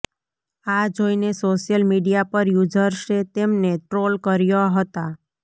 આ જોઈને social media પર યૂઝર્સે તેમને ટ્રોલ કર્યા હતા